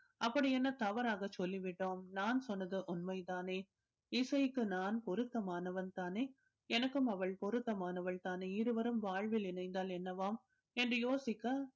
அப்படி என்ன தவறாக சொல்லி விட்டோம் நான் சொன்னது உண்மைதானே இசைக்கு நான் பொருத்தமானவன் தானே எனக்கும் அவள் பொருத்தமானவள் தானே இருவரும் வாழ்வில் இணைந்தால் என்னவாம் என்று யோசிக்க